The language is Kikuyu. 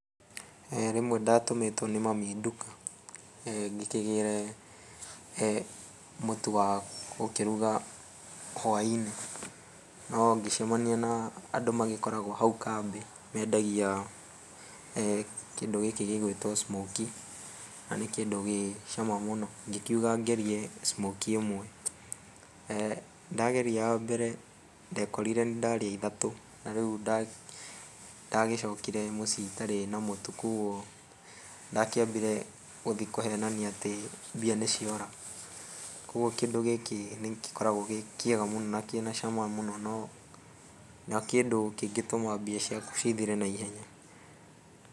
Rĩmwe ndatũmĩtwo nĩ mami nduka ngĩkĩgĩre mũtu wa gũkĩruga hwainĩ no ngĩcemania na andũ magĩkoragwo hau kambe mendagia kĩndũ gĩkĩ gĩgwĩtwo smokie na nĩ kĩndũ gĩcama mũno ngĩkĩuga ngerie smokie ĩmwe, ndageria ya mbere ndekorire nĩ ndarĩa ithatũ na rĩu ndagĩcokire mũciĩ itarĩ na mũtu koguo ndakĩambire gũthiĩ kũhenania atĩ mbia nĩciora koguo kĩndũ gĩkĩ nĩgĩkoragwo gĩ kĩega mũno nĩ kĩna cama mũno no nĩ kĩndũ kĩngĩtũma mbia ciaku cithire na ihenya.